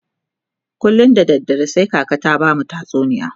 kullum da dare sai kaka ta bamu tatsuniya